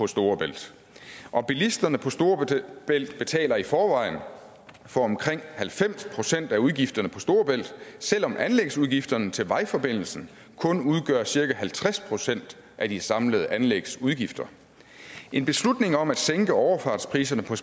storebælt og bilisterne på storebælt betaler i forvejen for omkring halvfems procent af udgifterne på storebælt selv om anlægsudgifterne til vejforbindelsen kun udgør cirka halvtreds procent af de samlede anlægsudgifter en beslutning om at sænke overfartspriserne på